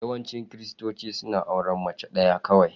Yawancin Kiristoci suna auren mace ɗaya kawai.